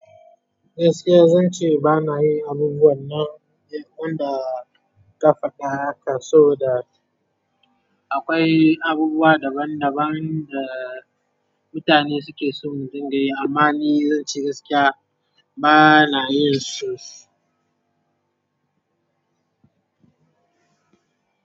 Gaskiya zan ce ba na yi abubuwan nan, don da ƙafa ɗaya kaso da akwai abubuwa daban daban da mutane suke so mu dunga yi, amma ni zan ce gaskiya ba na yin su.